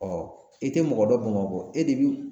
i tɛ mɔgɔ dɔ Bamakɔ e de bi